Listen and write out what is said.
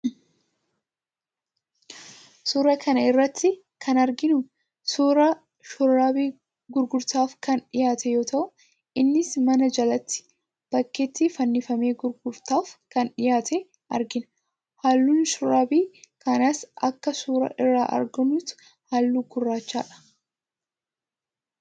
Suuraa kana irratti kan arginu suuraa shurraabii gurgurtaaf kan dhiyaate yoo ta'u, innis mana jalatti, bakkeetti fannifamee gurgurtaaf kan dhiyaate argina. Halluun shurraabii kanaas akka suuraa irraa argamutti haalluu gurraachadha.